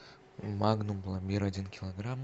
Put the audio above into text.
магнум пломбир один килограмм